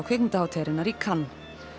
kvikmyndahátíðarinnar í Cannes